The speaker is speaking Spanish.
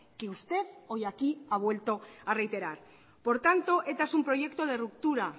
que usted hoy aquí ha vuelto a reiterar por tanto eta es un proyecto de ruptura